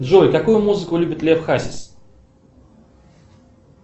джой какую музыку любит лев хасис